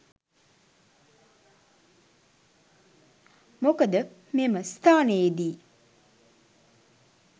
මොකද මෙම ස්ථානයේ දී